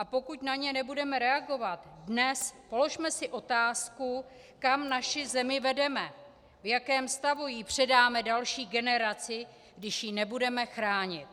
A pokud na ně nebudeme reagovat dnes, položme si otázku, kam naši zemi vedeme, v jakém stavu ji předáme další generaci, když ji nebudeme chránit.